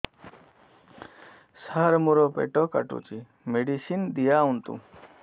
ସାର ମୋର ପେଟ କାଟୁଚି ମେଡିସିନ ଦିଆଉନ୍ତୁ